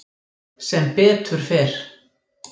Sem betur fer